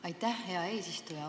Aitäh, hea eesistuja!